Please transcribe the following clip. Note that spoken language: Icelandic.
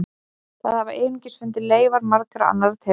Þar hafa einnig fundist leifar margra annarra tegunda.